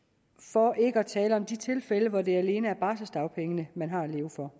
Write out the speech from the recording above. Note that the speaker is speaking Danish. for ikke at tale om de tilfælde hvor det alene er barselsdagpenge man har at leve for